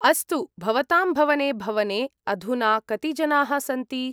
अस्तु, भवतां भवने भवने अधुना कति जनाः सन्ति?